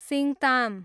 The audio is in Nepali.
सिङताम